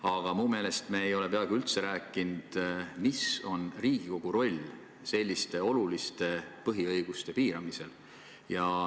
Aga minu meelest ei ole me peaaegu üldse rääkinud sellest, mis on Riigikogu roll selliste oluliste põhiõiguste piiramisel.